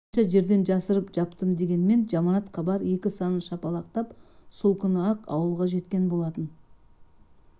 қанша жерден жасырып-жаптым дегенмен жаманат хабар екі санын шапалақтап сол күні-ақ ауылға жеткен болатын